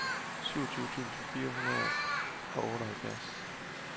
syvogtyve tusind fire hundrede og otteoghalvfjerds